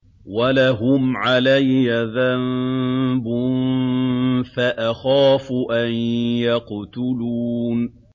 وَلَهُمْ عَلَيَّ ذَنبٌ فَأَخَافُ أَن يَقْتُلُونِ